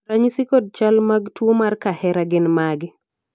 ranyisi kod chal mag tuo mar kahera gin mage?